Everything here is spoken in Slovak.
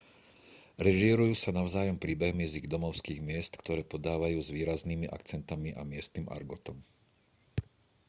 režírujú sa navzájom príbehmi z ich domovských miest ktoré podávajú s výraznými akcentmi a miestnym argotom